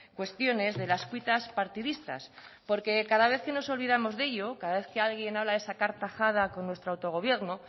cuestiones de las cuitas partidistas porque cada vez que nos olvidamos de ello cada vez que alguien habla de sacar tajada con nuestro autogobierno